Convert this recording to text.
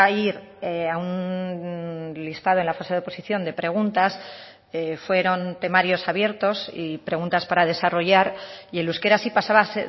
ir a un listado en la fase de oposición de preguntas fueron temarios abiertos y preguntas para desarrollar y el euskera sí pasaba a